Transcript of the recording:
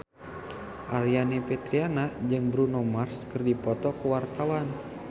Aryani Fitriana jeung Bruno Mars keur dipoto ku wartawan